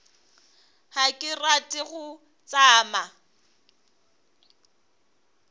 ga ke rate go tšama